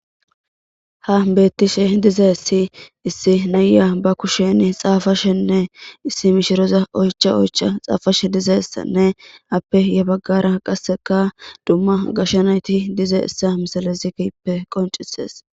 Ha beettishe dizassi issi naya ba kusheni xaafashenne issi mishiroza oycha oycha xaafashe dizayssanne appe ya baggara qasseka dumma gashanayti dize issa misalazippe qoncises